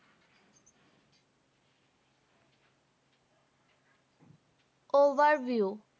Overview